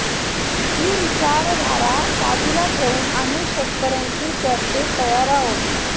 ही विचारधारा बाजूला ठेवून आम्ही शेतकऱ्यांशी चर्चेस तयार आहोत